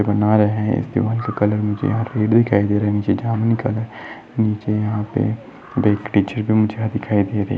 बना रहे है इस दिवार का कलर मुझे यहाँ रेड दिखाई दे रहा है निचे जामनी कलर मुझे यहाँ पे दिखाई दे रही --